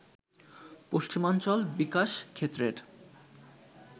পশ্চিমাঞ্চল বিকাশ ক্ষেত্রের